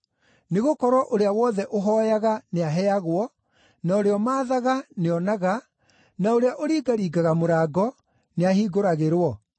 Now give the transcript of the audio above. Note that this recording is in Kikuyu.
Nĩgũkorwo ũrĩa wothe ũhooyaga nĩaheagwo, na ũrĩa ũmaathaga nĩonaga, na ũrĩa ũringaringaga mũrango, nĩahingũragĩrwo.